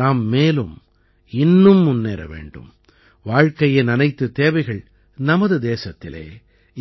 நாம் மேலும் இன்னும் முன்னேற வேண்டும் வாழ்க்கையின் அனைத்துத் தேவைகள் நமது தேசத்திலே